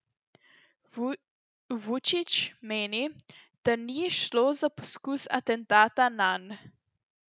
Vučić meni, da ni šlo za poskus atentata nanj.